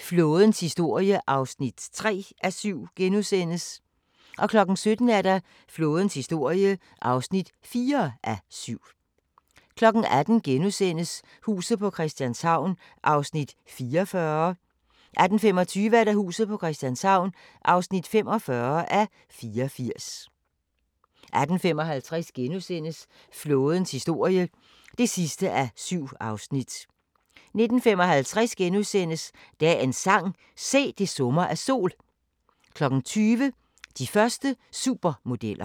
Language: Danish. Flådens historie (3:7)* 17:00: Flådens historie (4:7) 18:00: Huset på Christianshavn (44:84)* 18:25: Huset på Christianshavn (45:84)* 18:55: Flådens historie (7:7)* 19:55: Dagens sang: Se, det summer af sol * 20:00: De første supermodeller